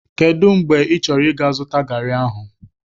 Kedụ mgbe ị chọrọ 'ga zụta garị ahụ?